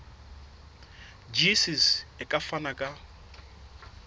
gcis e ka fana ka